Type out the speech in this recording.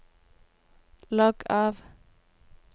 logg av